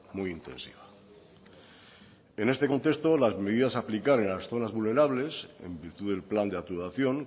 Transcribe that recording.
muy intensiva en este contexto las medidas a aplicar en las zonas vulnerables en virtud del plan de actuación